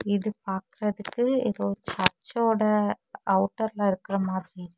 இது பாக்றதுக்கு ஏதோ சர்ச்சோட அவுட்டர்ல இருக்குற மாதிரி--